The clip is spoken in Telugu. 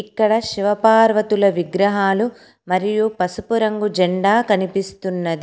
ఇక్కడ శివపార్వతుల విగ్రహాలు మరియు పసుపు రంగు జెండా కనిపిస్తున్నది.